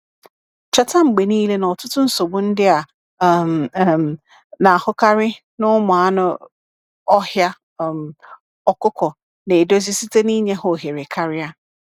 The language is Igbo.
Cheta mgbe niile na ọtụtụ nsogbu ndị a um um na-ahụkarị na ụmụ anụ ọhịa um ọkụkọ na-edozi site n’ịnye ha ohere karịa.